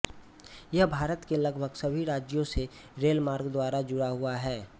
यह भारत के लगभग सभी राज्यों से रेल मार्ग द्वारा जुड़ा हुआ है